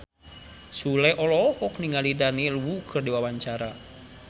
Sule olohok ningali Daniel Wu keur diwawancara